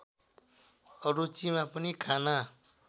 अरुचिमा पनि खाना